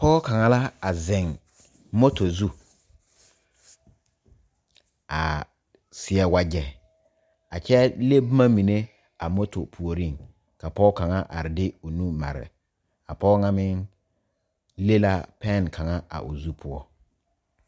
Pɔge kaŋa la a zeŋ moto zu a seɛ wagye a kyɛ le boma mine a moto puori ka pɔge kaŋa are de o nu mare a pɔge kaŋa meŋ le la penne kaŋa a o zu poɔ.